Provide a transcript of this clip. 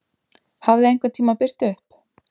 Hafði einhvern tíma birt upp?